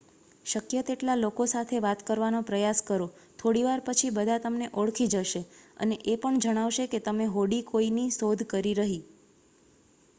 શક્ય તેટલા લોકો સાથે વાત કરવાનો પ્રયાસ કરો.થોડીવાર પછી બધા તમને ઓળખી જશે અને એ પણ જણાવશે કે કઈ હોડી કોઈની શોધકરી રહી